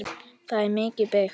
Það er mikið byggt.